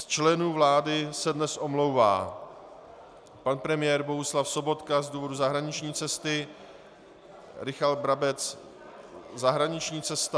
Z členů vlády se dnes omlouvá pan premiér Bohuslav Sobotka z důvodu zahraniční cesty, Richard Brabec - zahraniční cesta...